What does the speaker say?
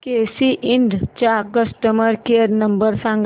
केसी इंड चा customer care number सांग